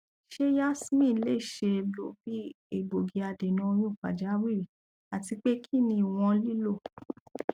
ṣe yasmin le ṣee lo bi egbogi adena oyun pajawiri atipe kini iwọn lilo